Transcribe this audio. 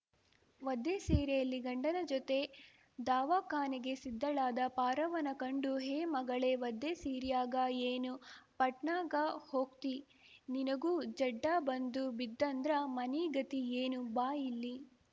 ವದ್ದೆ ಸೀರೆಯಲ್ಲಿ ಗಂಡನ ಜೊತೆ ದವಾಖಾನೆಗೆ ಸಿದ್ದಳಾದ ಪಾರವ್ವನ ಕಂಡು ಹೇ ಮಗಳೇ ವದ್ದೆ ಸೀರ್ಯಾಗ ಏನು ಪಟ್ನಾಗ ಹೋಗ್ತೀ ನಿನಗೂ ಜಡ್ಡ ಬಂದು ಬಿದ್ದೆಂದ್ರ ಮನಿಗತಿ ಏನು ಬಾ ಇಲ್ಲಿ